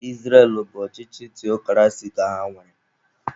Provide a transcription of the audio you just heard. Israel bụ ọchịchị theokrasi ka ha nwere.